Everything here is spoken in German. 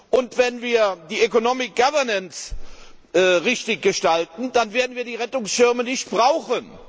Und wenn wir die economic governance richtig gestalten, dann werden wir die Rettungsschirme nicht brauchen.